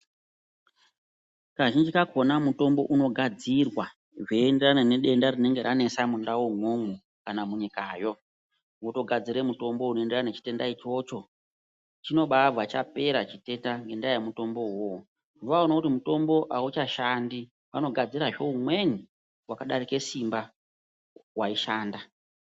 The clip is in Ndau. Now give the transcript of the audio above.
Kazhinji kakhona mutombo unogadzirwa zveienderana nedenda rinenge ranesa mundaumwo kana munyikayo. Votogadzire mutombo unoenderana nechitenda ichocho. Chinobabva chapera chitenda ngendaa yemutombo uwowo. Vaona kuti mutombo auchashandi vanogadzirazve umweni wakadarika simba waishanda.